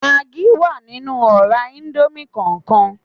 Magí wà nínú ọ̀rá íńdómì kọọkan